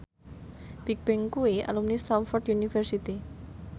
Bigbang kuwi alumni Stamford University